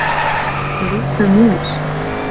Líka mér.